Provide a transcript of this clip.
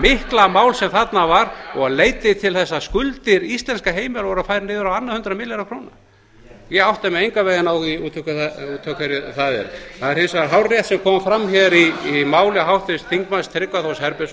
mikla mál sem þarna var og leiddi til þess að skuldir íslenskra heimila voru færðar niður um á annað hundrað milljarða króna ég átta mig engan veginn á því út af hverju það er það er hins vegar hárrétt sem kom fram